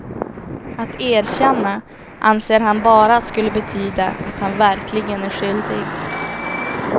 Att erkänna anser han bara skulle betyda att han verkligen är skyldig.